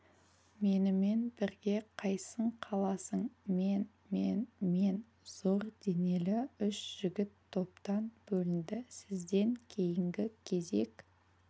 менімен бірге қайсың қаласың мен мен мен зор денелі үш жігіт топтан бөлінді сізден кейінгі кезек